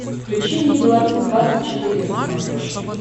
включи мне беларусь двадцать четыре на смотрешке